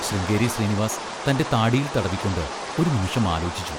ശൃംഗേരി ശ്രീനിവാസ് തൻ്റെ താടിയിൽ തടവിക്കൊണ്ട് ഒരു നിമിഷം ആലോചിച്ചു.